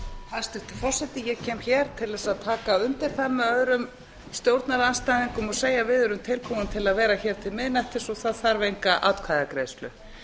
hæstvirtur forseti ég kem hér til þess að taka undir það með öðrum stjórnarandstæðingum og segja við erum tilbúin til að vera hér til miðnættis og það þarf enga atkvæðagreiðslu